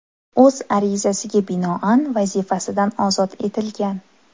o‘z arizasiga binoan vazifasidan ozod etilgan.